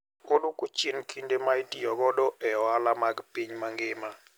Oduoko chien kinde ma itiyo godo e ohala mag piny mangima.